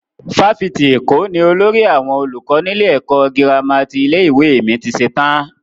Fáfitì Èkó ni olórí àwọn olùkọ́ nílé ẹ̀kọ́ gírámà ti ilé-ìwé mi ti ṣetán.